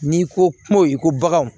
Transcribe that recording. N'i ko kuma i ko baganw